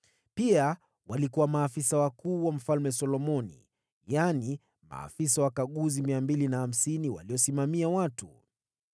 Pia walikuwa maafisa wakuu wa Mfalme Solomoni, yaani, maafisa wakaguzi 250 waliosimamia watu.